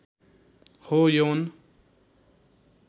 हो यौन